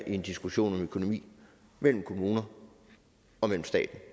i en diskussion om økonomi mellem kommuner og staten